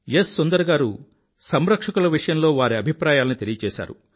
సుందర్ గారు సంరక్షకుల విషయంలో వారి అభిప్రాయాలను తెలియచేసారు